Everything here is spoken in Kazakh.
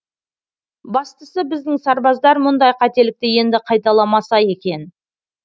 бастысы біздің сарбаздар мұндай қателікті енді қайталамаса екен